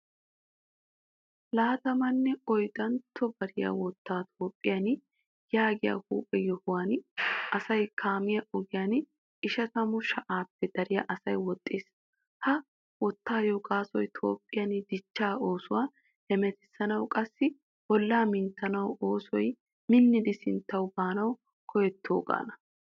Laattamane oyddantto bayraa wottay toophphian yaagiyaa huuphphee yohuwan asay kaamiya ogiyan ishshatamu sha'appe daro asay woxxiis. Ha wottawu gaasoy toophphiyan dichchaa oosuwaa hemettisanawu qassi bolla minttetuwa oosoy minnidi sinttawu baanawu koyettogana.